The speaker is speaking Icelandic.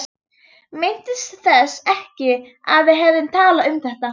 Minntist þess ekki að við hefðum talað um það.